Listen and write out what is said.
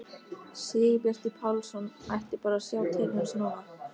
Sigurbjartur Pálsson ætti bara að sjá til hans núna!